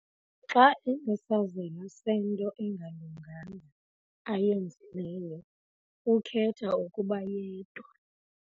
Xa enesazela sento engalunganga ayenzileyo ukhetha ukuba yedwa.